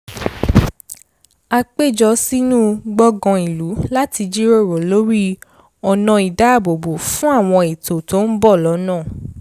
à pé jọ sínú gbọ̀ngàn ìlú láti jíròrò lórí ọnà ìdáàbòbo fún àwọn ètò tó ń bọ̀ lọ́nà